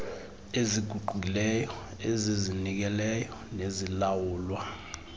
eziguqukileyo ezizinikeleyo nezilawulwa